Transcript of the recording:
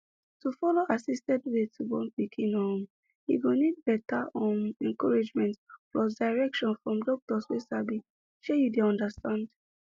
to follow assisted way to born pikin um e go need better um encouragement plus direction from doctor wey sabi shey you dey understand